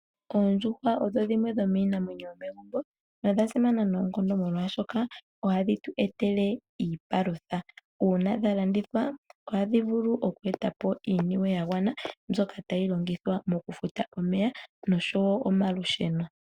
Oondjuhwa odho dhimwe dhomiinamwenyo yo megumbo nodha simana noonkondo omolwashoka ohadhi tu etele iipalutha uuna dha landithwa ohadhi vulu okweetapo iiniwe ya gwana mbyoka tayi longithwa mokufuta omeya noshowo omalusheno.